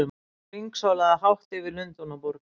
Hann hringsólaði hátt yfir Lundúnaborg!